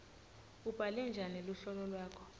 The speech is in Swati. ubhale njani luhlolo lwakho